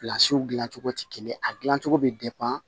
dilan cogo tɛ kelen ye a dilancogo bɛ